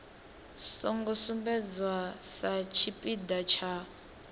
songo sumbedzwa sa tshipiḓa tsha